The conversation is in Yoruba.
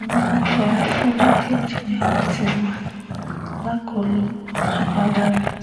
àwọn afurasí méjèèjì ni wọ́n ti wà lákọlò ọlọ́pàá báyìí